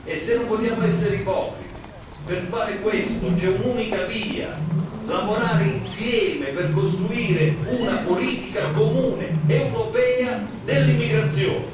Se non vogliamo essere ipocriti, per fare questo, c'è un'unica via lavorare insieme per costruire una politica comune europea dell'immigrazione.